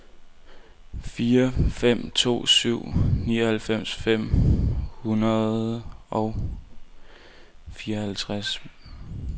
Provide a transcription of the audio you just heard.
fire fem to syv nioghalvfems fem hundrede og fireoghalvtreds